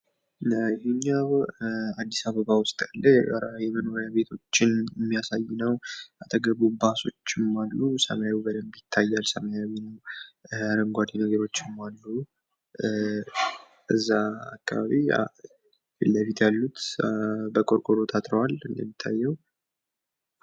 ይኼኛው አዲስአበባ ውስጥ ያለ የመኖርያ ቤቶችን የሚያሳይ ነው። አጠገቡ ባሶችም አሉ። ሰማዩ በደንብ ይታያል ሰማያዊ ነው። አረንጓዴ ነገሮችም አሉ። እዛ አካባቢ ፊትለፊት ያሉት በቆርቆሮ ታጥረዋል። እንደሚታየው!